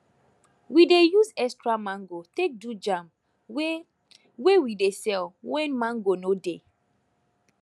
we dey use extra mango take do jam wey wey we dey sell when mango no dey